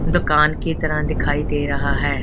दुकान की तरह दिखाई दे रहा है।